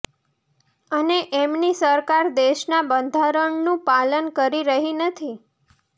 અને તેમની સરકાર દેશના બંધારણનું પાલન કરી રહી નથી